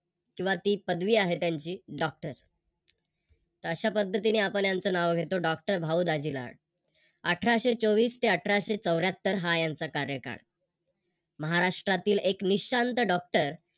किवा ती पदवी आहे त्यांची Doctor तर अशा पद्धतीने आपण त्यांचं नाव घेतो Doctor भाऊ दाजी लाड. अठराशे चोवीस चे अठराशे चौर्यात्तहर हा यांचा कार्यकाळ. महाराष्ट्रातील एक निशांत Doctor